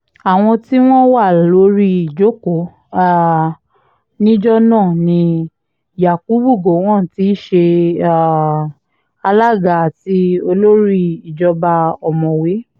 àwọn tí wọ́n wà lórí ìjókòó um níjọ náà ni yakubu gowon tí í ṣe um alága àti olórí ìjọba ọ̀mọ̀wé d